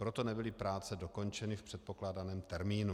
Proto nebyly práce dokončeny v předpokládaném termínu.